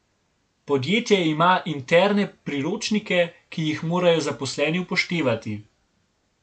Podjetje ima interne priročnike, ki jih morajo zaposleni upoštevati.